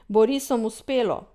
Bo risom uspelo?